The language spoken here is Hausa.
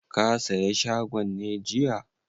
Ka saye shagon ne jiya?